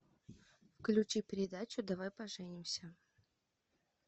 включи передачу давай поженимся